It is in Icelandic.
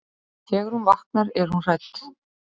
Þegar hún vaknar er hún hrædd.